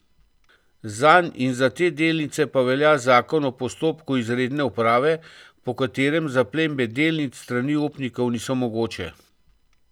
Zanj in za te delnice pa velja zakon o postopku izredne uprave, po katerem zaplembe delnic s strani upnikov niso mogoče.